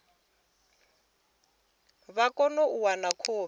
vha kone u wana khophi